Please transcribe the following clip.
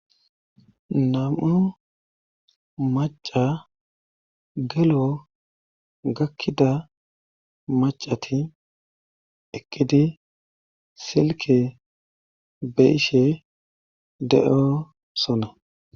nam7u maca gelo gakkida macati eqqidi silke be ishe de7o sona